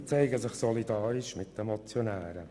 Sie zeigen sich solidarisch mit den Motionären.